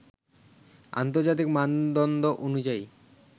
আন্তর্জাতিক মানদণ্ড অনুযায়ী